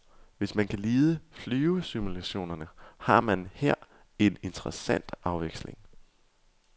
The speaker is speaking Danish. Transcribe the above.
Hvis man kan lide flyvesimulationerne, har man her en interessant afveksling.